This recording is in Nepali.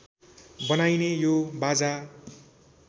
बनाइने यो बाजा